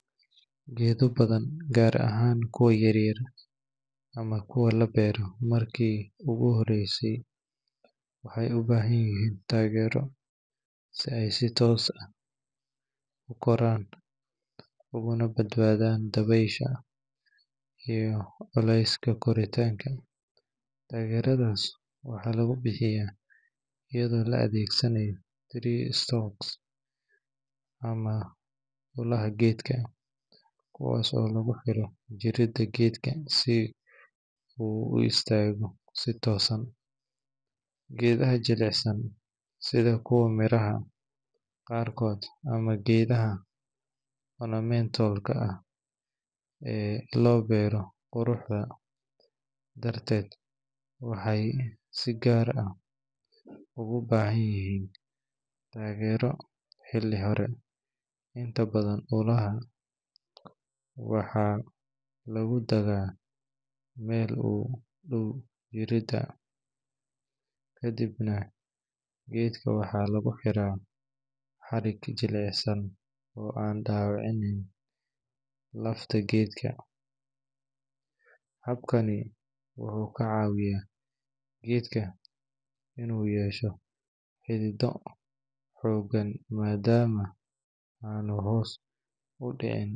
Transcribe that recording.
Geedo badan, gaar ahaan kuwa yar yar ama kuwa la beero markii ugu horreysay, waxay u baahan yihiin taageero si ay si toos ah u koraan ugana badbaadaan dabaysha iyo culeyska koritaanka. Taageeradaas waxaa lagu bixiyaa iyadoo la adeegsanayo tree stakes ama ulaha geedka, kuwaas oo lagu xiro jirida geedka si uu u istaago si toosan. Geedaha jilicsan, sida kuwa miraha qaarkood ama geedaha ornamental ka ah ee loo beero quruxda darteed, waxay si gaar ah ugu baahan yihiin taageero xilli hore. Inta badan, ulaha waxaa lagu taagaa meel u dhow jirida, kadibna geedka waxaa lagu xiraa xarig jilicsan oo aan dhaawaceynin lafta geedka. Habkani wuxuu ka caawiyaa geedka inuu yeesho xididdo xooggan maadaama aanu hoos u dhici doonin.